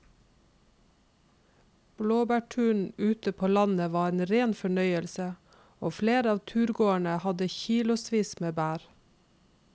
Blåbærturen ute på landet var en rein fornøyelse og flere av turgåerene hadde kilosvis med bær.